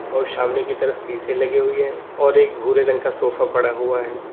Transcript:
और सामने की तरफ शीशे लगी हुए है और एक भूरे रंग का सोफा पड़ा हुआ है।